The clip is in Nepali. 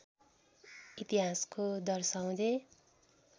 इतिहासको दर्शाउँदै